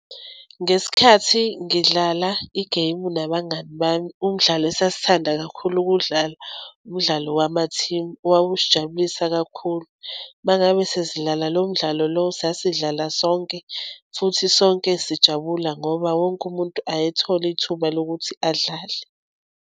Ngesikhathi ngidlala igemu nabangani bami. Umdlalo esasithanda kakhulu ukudlala umdlalo wamathimu owawusijabulisa kakhulu. Uma ngabe sesidlala lo mdlalo lowo sasidlala sonke futhi sonke sijabula ngoba wonke umuntu ayethola ithuba lokuthi adlale.